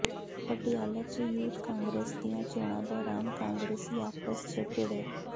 ਪਟਿਆਲਾ ਚ youth Congress ਦੀਆਂ ਚੋਣਾਂ ਦੌਰਾਨ ਕਾਂਗਰਸੀ ਆਪਸ ਚ ਭਿੜੇ